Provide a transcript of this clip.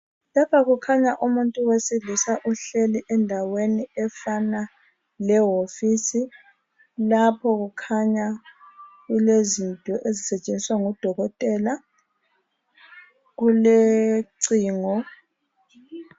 Lapha kukhanya umuntu wesilisa uhleli endaweni efanayo lewofisi lapho kukhanya ilezinto ezisetshenziswa ngodokotela kulocingo